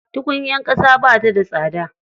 Tukunyar ƙasa ba ta da tsada.